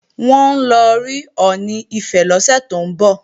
Wọ́n ń lọ rí Ọọ̀ni Ifẹ̀ lọ́sẹ̀ tó ń bọ̀